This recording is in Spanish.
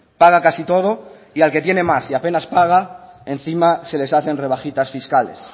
paga casi todo y al que tiene más y apenas paga encima se les hacen rebajitas fiscales